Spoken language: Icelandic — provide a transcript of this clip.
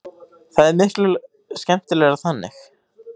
Það er miklu skemmtilegra þannig.